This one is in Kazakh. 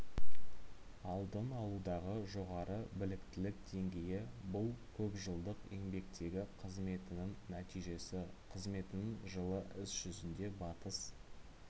алдын алудағы жоғары біліктілік деңгейі бұл көпжылдық еңбектегі қызметінің нәтижесі қызметінің жылы іс жүзінде батыс